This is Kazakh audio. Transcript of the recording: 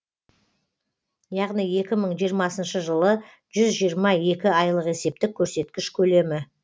яғни екі мың жиырмасыншы жылы жүз жиырма екі айлық есептік көрсеткіш көлемі